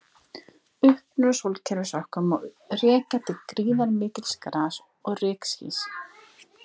Uppruna sólkerfis okkar má rekja til gríðarmikils gas- og rykskýs.